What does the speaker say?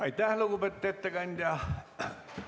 Aitäh, lugupeetud ettekandja!